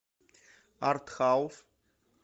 арт хаус